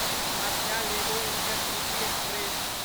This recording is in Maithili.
Kamakhya Ledo intercity express